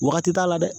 Wagati t'a la dɛ